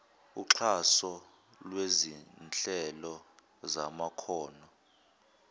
uxhaso lwezinhlelo zamakhono